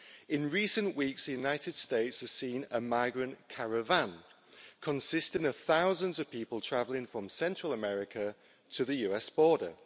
In recent weeks, the United States has seen a migrant caravan consisting of thousands of people travelling from Central America to the US border.